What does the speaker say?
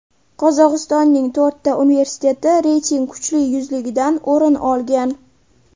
Qozog‘istonning to‘rtta universiteti reyting kuchli yuzligidan o‘rin olgan.